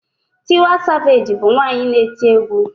Tiwa savage bu nwanyi na-eti egwu